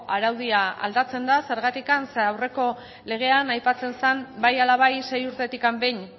araudia aldatze da zergatik ze aurreko legean aipatzen zen bai ala bai sei urtetik behin